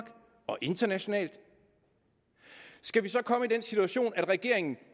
og internationalt skal vi så komme i den situation at regeringen